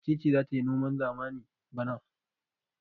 Wace ce za ta yi noman zamani bana?